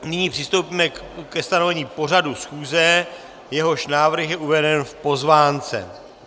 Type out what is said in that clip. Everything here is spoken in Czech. Nyní přistoupíme ke stanovení pořadu schůze, jehož návrh je uveden v pozvánce.